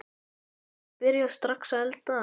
Þú getur byrjað strax að elda.